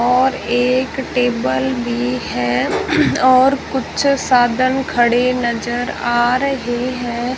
और एक टेबल भी है और कुछ साधन खड़े नजर आ रहे हैं।